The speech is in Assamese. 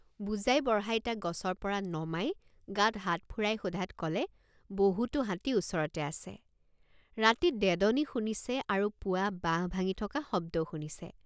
বুজাইবঢ়াই তাক গছৰপৰা নমাই গাত হাত ফুৰাই সোধাত কলে বহুতো হাতী ওচৰতে আছে ৰাতি ডেডনি শুনিছে আৰু পুৱা বাঁহ ভাঙি থকা শব্দও শুনিছে।